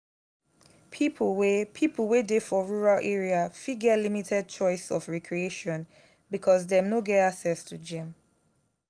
pipo wey pipo wey dey for rural area fit get limited choice of recreation because dem no get access to gym